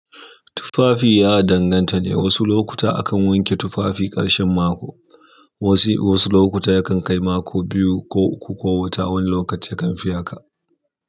Tufafi ya danganta ne, wasu lokuta akan wanke tufafi ƙarshen mako, wasu wasu lokuta yakan kai mako biyu ko uku ko wata wani lokaci yakan fi haka.